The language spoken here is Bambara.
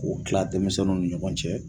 K'o tila denmisɛnninw ni ɲɔgɔn cɛ